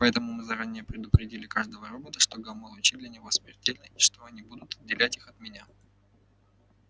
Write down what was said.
поэтому мы заранее предупредили каждого робота что гамма-лучи для него смертельны и что они будут отделять их от меня